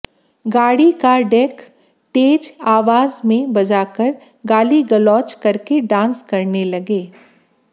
गाड़ी का डैक तेज आवाज में बजाकर गाली गलोच करके डांस करने लगे